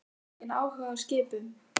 Hefur þú svona mikinn áhuga á skipum?